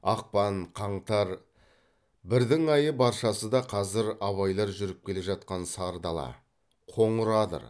ақпан қаңтар бірдің айы баршасы да қазір абайлар жүріп келе жатқан сары дала қоңыр адыр